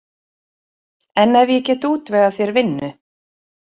En ef ég get útvegað þér vinnu?